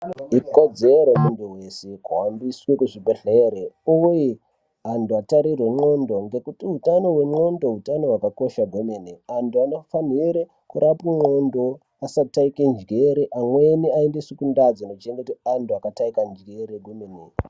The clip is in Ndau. Ikodzero yemuntu wese kuhambiswe kuzvibhehlere uye antu atarirwe ndxondo ngekuti utano hwendxondo hutano hwakakosha kwemene. Antu anofanhire kurapwe ndxondo asataike njere, amweni aendeswe kundaa dzinochengetwe antu akataika njere kwemene.